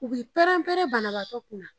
U bɛɛ pɛrɛnpɛrɛn banabagatɔ kunna.